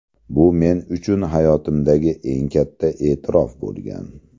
Bu men uchun hayotimdagi eng katta e’tirof bo‘lgan.